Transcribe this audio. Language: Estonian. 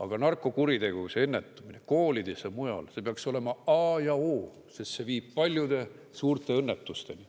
Aga narkokuritegevuse ennetamine koolides ja mujal peaks olema A ja O. Sest see viib paljude suurte õnnetusteni.